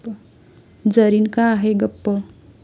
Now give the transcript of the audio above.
जरीन का आहे गप्प?